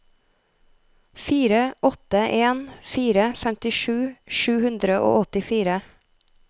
fire åtte en fire femtisju sju hundre og åttifire